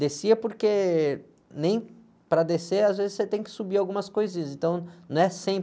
Descia porque nem para descer, às vezes você tem que subir algumas coisas, então não é cem